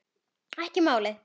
Ekki málið!